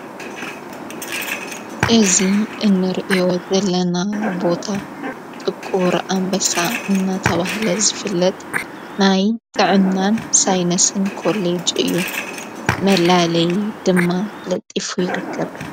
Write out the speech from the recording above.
እዙ እንርእያ ዘለና ቦታ ጥቁር ኣምበሳ እናተብህለ ዝፍለጥ ናይ ጥዕናን ሳይነስን ኮሌጅ እዩ መላለይ ድማ ለጢፉ ይርከብ::